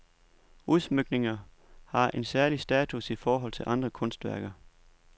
Udsmykninger har en særlig status i forhold til andre kunstværker.